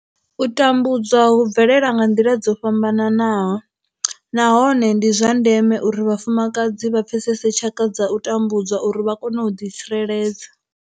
U tambudzwa hu bvelela nga nḓila dzo fhambanaho nahone ndi zwa ndeme uri vhafumakadzi vha pfesese tshaka dza u tambudzwa uri vha kone u ḓitsireledza.